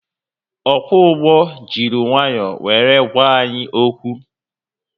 Ọkwọ ụgbọ jiri nwayọọ were gwa anyị okwu